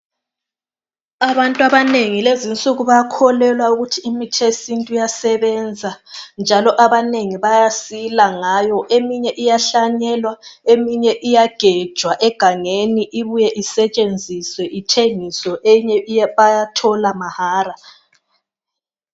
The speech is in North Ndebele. Abantu abanengi lezinsuku bakholelwa ukuthi imuthi yesintu iyasebenza njalo abanengi bayasila ngayo eminye iyahlanyelwa eminye iyagejwa egangeni ibuye isetshenziswe ithengiswe enye bayathola mahara